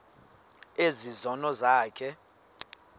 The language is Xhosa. ezi zono zakho